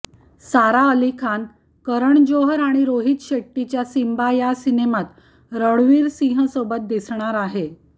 सारा अली खान करण जोहर आणि रोहित शेट्टीच्या सिंबा या सिनेमात रणवीर सिंहसोबत दिसणार आहे